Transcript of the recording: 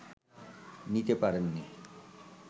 নিতে পারেননি